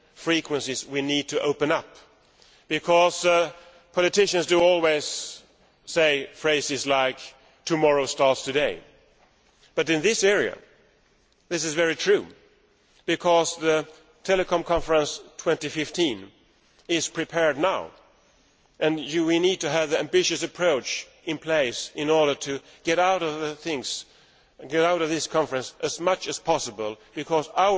frequencies we need to open up. Politicians always say phrases like tomorrow starts today', but in this area this is very true, because the Telecom Conference 2015 is being prepared now, and we need to have an ambitious approach in place in order to get as much as possible out of this conference.